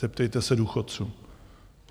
Zeptejte se důchodců.